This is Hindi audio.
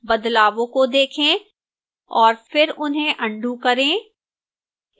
बदलावों को देखें और फिर उन्हें अन्डू करें